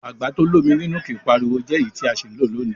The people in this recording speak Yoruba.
Àgbà to l'ómi nínú kìí pariwo jẹ́ èyí tí a sì ń lò lónìí.